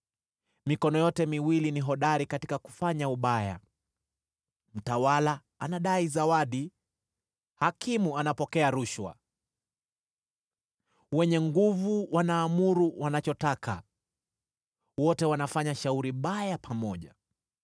Mikono yote miwili ni hodari katika kufanya ubaya, mtawala anadai zawadi, hakimu anapokea rushwa, wenye nguvu wanaamuru wanachotaka: wote wanafanya shauri baya pamoja.